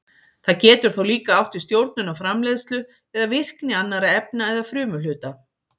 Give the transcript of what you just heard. Það getur þó líka átt við stjórnun á framleiðslu eða virkni annarra efna eða frumuhluta.